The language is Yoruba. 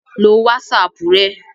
lo wásapù rẹ